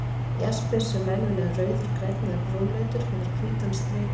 Jaspis, sem venjulega er rauður, grænn eða brúnleitur, hefur hvítan striklit.